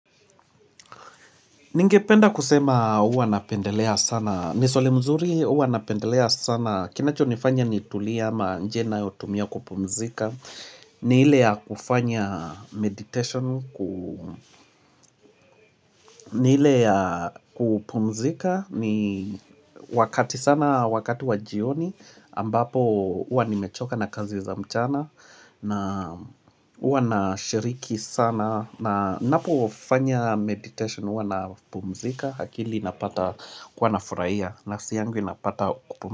Ningependa kusema uwa napendelea sana, ni swali mzuri uwa napendelea sana, kinachonifanya nitulie ama njia ninayotumia kupumzika, ni ile ya kufanya meditation, ni ile ya kupumzika ni wakati sana wakati wajioni ambapo uwa nimechoka na kazi za mchana na uwa nashiriki sana na ninapofanya meditation uwa napumzika akili inapata kuwa nafuraia nafsi yangu inapata kupumzika.